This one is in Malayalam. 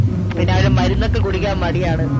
പിന്നെ അവനു മരുന്നൊക്കെ കുടിക്കാൻ മടിയാണ്